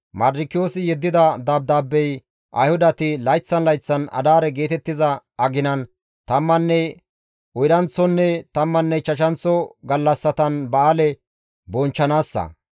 Mardikiyoosi yeddida dabdaabey Ayhudati layththan layththan Adaare geetettiza aginan tammanne oydanththonne tammanne ichchashanththo gallassatan ba7aale bonchchanaassa.